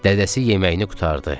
Dədəsi yeməyini qurtardı.